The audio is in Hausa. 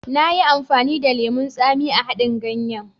Nayi amfani da lemon tsami a haɗin ganyen.